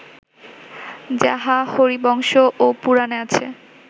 যাহা হরিবংশ ও পুরাণে আছে